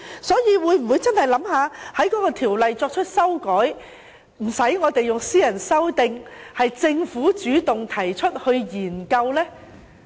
所以，政府會否考慮修訂《條例》，無須我們提出私人修訂，由政府主動提出研究呢？